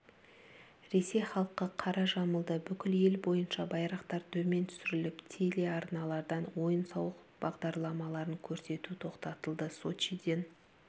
ресей халқы қара жамылды бүкіл ел бойынша байрақтар төмен түсіріліп телеарналардан ойын-сауық бағдарламаларын көрсету тоқтатылды сочиден